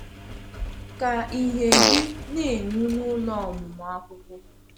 Ka ìhè gị na-enwu n’ụlọ ọmụmụ akwụkwọ.